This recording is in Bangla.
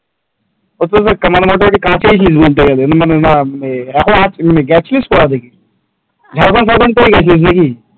মোটামুটি কাছেই ছিলিস বলতে গেলে মানে গেছিস কোথা থেকে ঝাড়গ্রাম ফরগম থেকে গিয়েছিলিস নাকি?